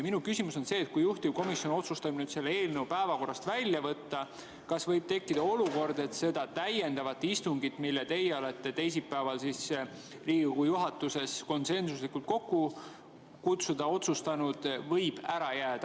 Minu küsimus on see, et kui juhtivkomisjon otsustab nüüd selle eelnõu päevakorrast välja võtta, kas võib tekkida olukord, et see täiendav istung, mille teie olete teisipäeval Riigikogu juhatuses konsensuslikult kokku kutsuda otsustanud, võib ära jääda.